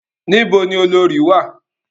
Ní bo ni olorì wà?